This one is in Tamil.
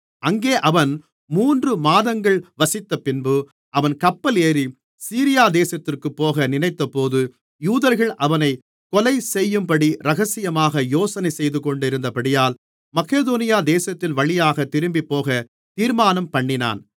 அங்கே அவன் மூன்று மாதங்கள் வசித்தபின்பு அவன் கப்பல் ஏறி சீரியா தேசத்திற்குப்போக நினைத்தபோது யூதர்கள் அவனைக் கொலைசெய்யும்படி இரகசியமாக யோசனை செய்துகொண்டிருந்தபடியால் மக்கெதோனியா தேசத்தின்வழியாகத் திரும்பிப்போகத் தீர்மானம்பண்ணினான்